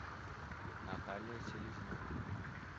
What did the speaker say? наталья селезнева